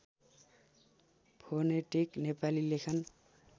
phonetic Nepali लेखन